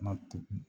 Na tugun